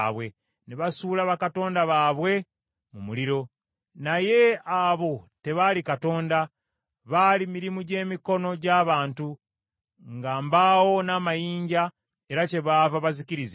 ne basuula bakatonda baabwe mu muliro. Naye abo tebaali Katonda, baali mirimu gy’emikono gy’abantu, nga mbaawo n’amayinja, era kyebaava bazikirizibwa.